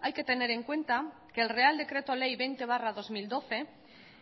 hay que tener en cuenta que el real decreto ley veinte barra dos mil doce